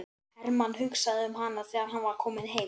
Hermann hugsaði um hana þegar hann var kominn heim.